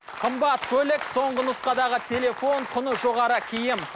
қымбат көлік соңғы нұсқадағы телефон құны жоғары киім